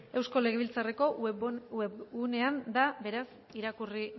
eusko legebiltzarreko webgunean da beraz irakurri